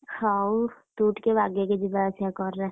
ହଉ, ତୁ ଟିକେ ବାଗେଇକି ଯିବା ଆସିବା କର ରାସ୍ତାରେ।